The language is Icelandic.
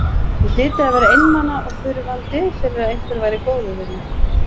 Ég hlyti að vera einmana og þurfandi fyrir að einhver væri góður við mig.